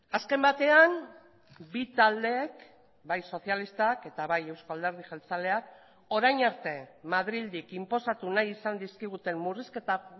azken batean bi taldeek bai sozialistak eta bai euzko alderdi jeltzaleak orain arte madrildik inposatu nahi izan dizkiguten murrizketa